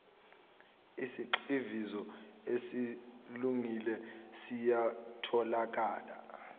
isigxivizo esesilungile siyatholakala